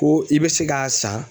Ko i bɛ se k'a san